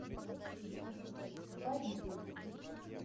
фариту